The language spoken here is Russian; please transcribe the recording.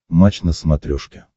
матч на смотрешке